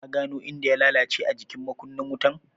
Ka gano inda ya lalace a jikin makunnin wutan?